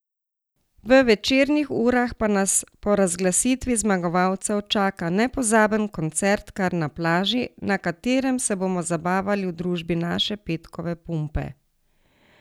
V večernih urah pa nas po razglasitvi zmagovalcev čaka nepozaben koncert kar na plaži, na katerem se bomo zabavali v družbi naše Petkove pumpe!